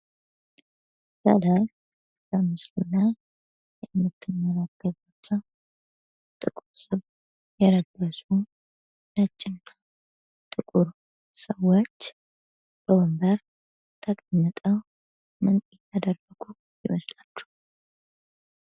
ከላይ በምስሉ ላይ የምትመለከቱት ጥቁር ሱፍ የለበሱ፣ ንጭና ጥቁር ሰዎች በወንበር ተቀምጠው ምን እያደረጉ ይመስላችኋል?